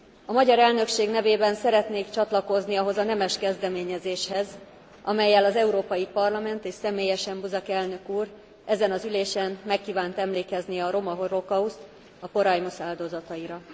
A magyar elnökség nevében szeretnék csatlakozni ahhoz a nemes kezdeményezéshez, amellyel az Európai Parlament és személyesen Buzek elnök úr ezen az ülésen meg kívánt emlékezni a roma holokauszt, a porajmos áldozataira.